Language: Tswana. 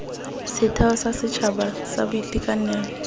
setheo sa setšhaba sa boitekanelo